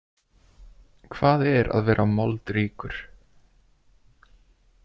Hvað er að vera „moldríkur“ ?